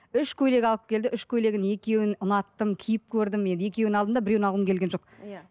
үш көйлек алып келді үш көйлегін екеуін ұнаттым киіп көрдім енді екеуін алдым да біреуін алғым келген жоқ иә